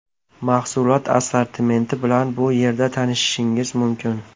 Mahsulot assortimenti bilan bu yerda tanishishingiz mumkin.